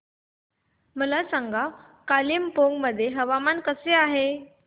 मला सांगा कालिंपोंग मध्ये हवामान कसे आहे